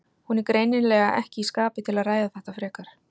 Hún er greinilega ekki í skapi til að ræða þetta frekar.